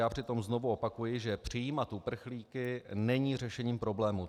Já přitom znovu opakuji, že přijímat uprchlíky není řešením problému.